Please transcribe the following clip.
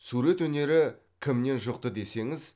сурет өнері кімнен жұқты десеңіз